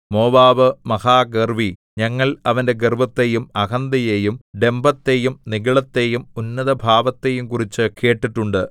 Moab മഹാഗർവ്വി ഞങ്ങൾ അവന്റെ ഗർവ്വത്തെയും അഹന്തയെയും ഡംഭത്തെയും നിഗളത്തെയും ഉന്നതഭാവത്തെയും കുറിച്ച് കേട്ടിട്ടുണ്ട്